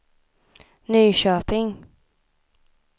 Nyköping